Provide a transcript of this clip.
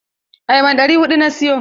Ayaban ɗari huɗu na siyo.